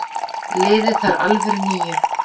Liðið þarf alvöru níu.